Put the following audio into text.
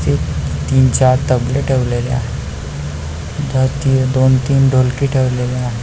ते तीन चार तबले ठेवलेले आहे दोन तीन ढोलकी ठेवलेली आहे.